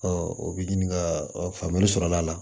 o bi ɲininkali sɔrɔla a la